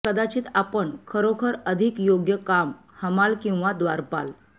कदाचित आपण खरोखर अधिक योग्य काम हमाल किंवा द्वारपाल